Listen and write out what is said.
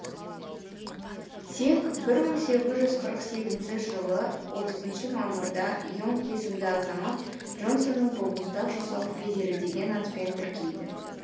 тек бір мың сегіз жүз қырық сегізінші жылы отызыншы мамырда и онг есімді азамат джонсонның балмұздақ жасау фризері деген атпен тіркейді